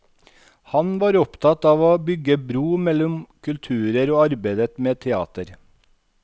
Han var opptatt av å bygge bro mellom kulturer og arbeidet med teater.